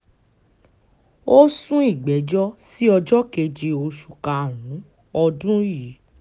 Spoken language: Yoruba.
ó sún ìgbẹ́jọ́ sí ọjọ́ keje oṣù karùn-ún ọdún yìí